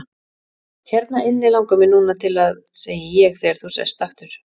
Hérna inni langar mig núna til að., segi ég þegar þú sest aftur.